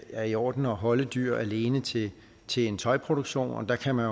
er i orden at holde dyr alene til en tøjproduktion og der kan man